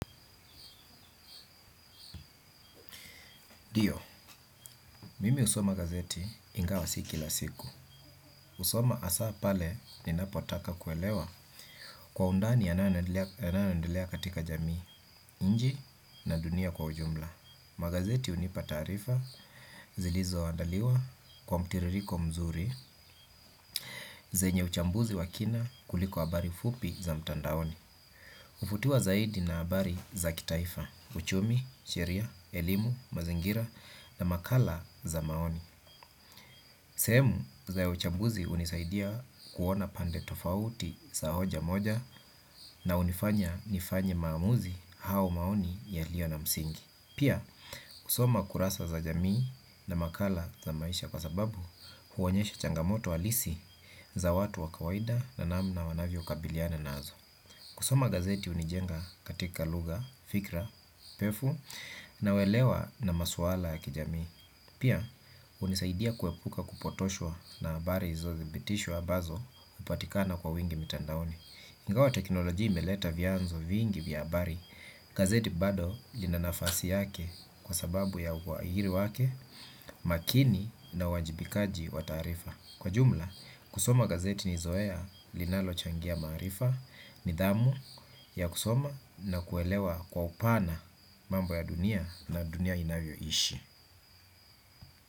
Ndio, mimi husoma gazeti ingawa si kila siku. Hsoma hasaa pale ninapotaka kuelewa kwa undani yanayoendelea katika jamii, nchi na dunia kwa ujumla. Magazeti hunipa taarifa, zilizoandaliwa kwa mtiririko mzuri, zenye uchambuzi wa kina kuliko habari fupi za mtandaoni. Huvutiwa zaidi na habari za kitaifa, uchumi, sheria, elimu, mazingira na makala za maoni. Sehemu za uchambuzi hunisaidia kuona pande tofauti za hoja moja na hunifanya nifanye maamuzi au maoni yaliyo na msingi. Pia kusoma kurasa za jamii na makala za maisha kwa sababu huonyesha changamoto halisi za watu wa kawaida na namna wanavyokabiliana nazo. Kusoma gazeti hunijenga katika lugha, fikra pefu na uelewa na maswala ya kijamii. Pia, hunisaidia kuepuka kupotoshwa na habari isiyodhibitishwa ambazo hupatikana kwa wingi mitandaoni. Ingawa teknolojia imeleta vyanzo vingi vya habari. Gazeti bado lina nafasi yake kwa sababu ya uhariri wake makini na uwajibikaji wa taarifa. Kwa jumla, kusoma gazeti nizoea linalochangia maarifa, nidhamu ya kusoma na kuelewa kwa upana mambo ya dunia na dunia inavyoishi.